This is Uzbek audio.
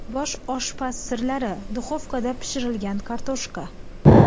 Bosh oshpaz sirlari: duxovkada pishirilgan kartoshka.